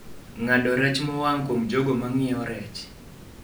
ng'ado rech mowang' kuom jogo ma ng'iewo rech